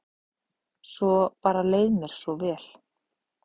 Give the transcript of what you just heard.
Svo bara leið mér svo vel.